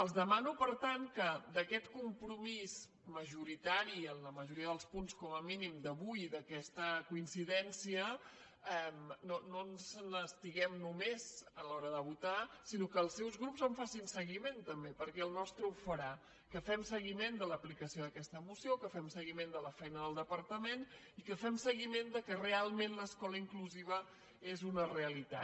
els demano per tant que d’aquest compromís majoritari en la majoria dels punts com a mínim d’avui i d’aquesta coincidència no ens n’estiguem només a l’hora de votar sinó que els seus grups en facin seguiment també perquè el nostre ho farà que fem seguiment de l’aplicació d’aquesta moció que fem seguiment de la feina del departament i que fem seguiment que realment l’escola inclusiva és una realitat